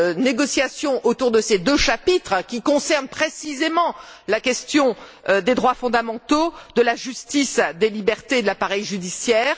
négociations autour de ces deux chapitres, qui concernent précisément la question des droits fondamentaux, de la justice, des libertés et de l'appareil judiciaire.